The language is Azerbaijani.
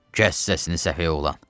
Kəs səsini, səfeh oğlan.